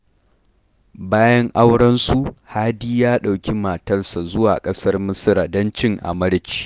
Bayan aurensu, Hadi ya ɗauki matarsa zuwa ƙasar Misira don cin amarci